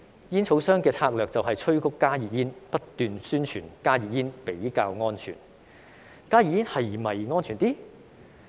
煙草商的策略就是催谷加熱煙，不斷宣傳加熱煙比較安全。